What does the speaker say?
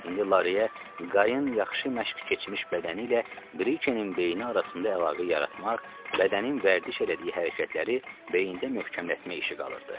İndi Lareyə qayət yaxşı məşq keçmiş bədəni ilə Brikenin beyni arasında əlaqə yaratmaq, bədənin vərdiş elədiyi hərəkətləri beyində möhkəmlətmək işi qalırdı.